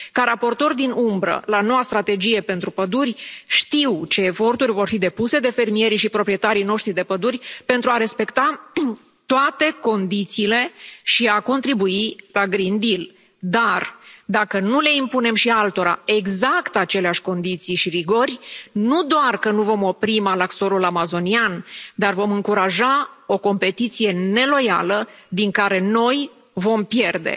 Ca raportor din umbră la noua strategie pentru păduri, știu ce eforturi vor fi depuse de fermierii și proprietarii noștri de păduri pentru a respecta toate condițiile și a contribui la Green Deal dar dacă nu le impunem și altora exact aceleași condiții și rigori, nu doar că nu vom opri malaxorul amazonian, dar vom încuraja o competiție neloială din care noi vom pierde.